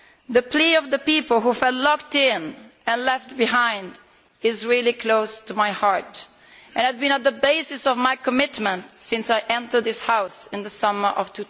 The plea of the people who felt locked in and left behind is really close to my heart and has been at the basis of my commitment since I entered this House in the summer of